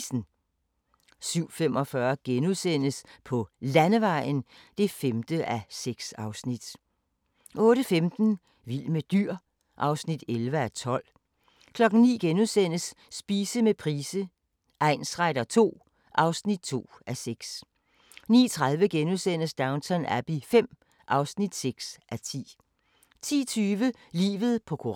20:55: Lewis: Mørket falder på (Afs. 16) 22:25: Kriminalkommissær Barnaby (Afs. 12) 00:05: Coyote Ugly 01:40: Doubt 03:15: World's Greatest Dad 04:45: Hammerslag 2006 (Afs. 17)*